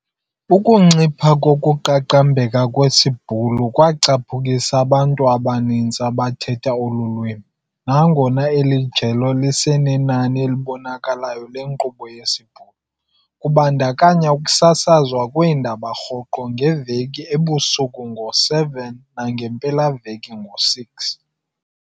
Ukuncipha kokuqaqambeka kwesiBhulu kwacaphukisa abantu abaninzi abathetha olu lwimi, nangona eli jelo lisenenani elibonakalayo lenkqubo yesiBhulu, kubandakanya ukusasazwa kweendaba rhoqo ngeveki ebusuku ngo-19:00 nangeempelaveki ngo-18:00.